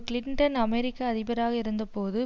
Clinton அமெரிக்க அதிபராக இருந்த போது